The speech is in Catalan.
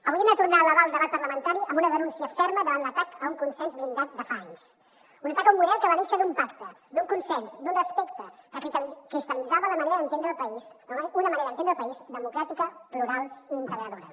avui hem de tornar a elevar el debat parlamentari amb una denúncia ferma davant l’atac a un consens blindat de fa anys un atac a un model que va néixer d’un pacte d’un consens d’un respecte que cristal·litzava la manera d’entendre el país una manera d’entendre el país democràtica plural i integradora